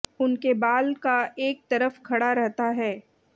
उनके बाल का एक तरफ खड़ा रहता है